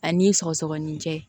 A ni sɔgɔsɔgɔnijɛ